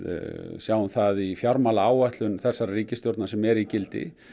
sjáum það í fjármálaáætlun þessarrar ríkisstjórnar sem er í gildi